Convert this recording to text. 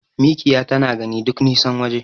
Mikiya tana gani duk nisan waje.